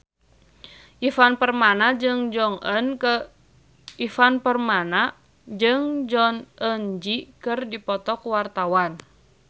Ivan Permana jeung Jong Eun Ji keur dipoto ku wartawan